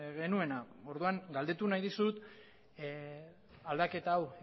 genuena orduan galdetu nahi dizut aldaketa hau